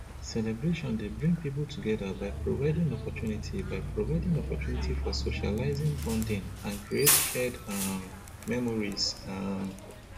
celebration dey bring people together by providing opportunity by providing opportunity for socializing bonding and create shared um memories um